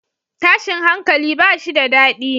Tashin hankali bashi da dadi